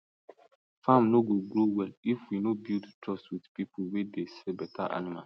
farm no go grow well if we no build trust with people wey dey sell better animals